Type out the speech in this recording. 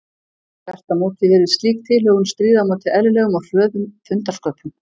Þvert á móti virðist slík tilhögun stríða á móti eðlilegum og hröðum fundarsköpum.